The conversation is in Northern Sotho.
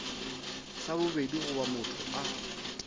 sa bobedi goba motho a